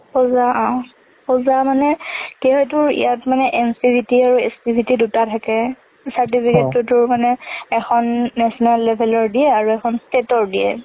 পূজা, অ। পূজা মানে ইয়াত মানে NCVT আৰু SCVT দুটা থাকে। certificate টু তো মানে এখন national level ৰ দিয়ে আৰু এখন state ৰ দিয়ে।